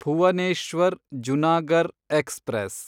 Bhuvneshwar Junagarh express